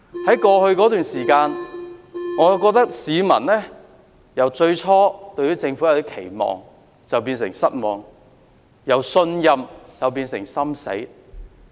在過去一段時間，我覺得市民已由最初對政府有點期望，變成失望；由信任變成心死。